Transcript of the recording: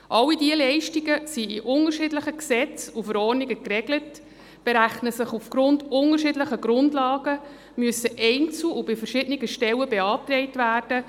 All diese Leistungen sind in unterschiedlichen Gesetzen und Verordnungen geregelt, werden auf unterschiedlichen Grundlagen berechnet, müssen einzeln und bei verschiedenen Stellen beantragt werden.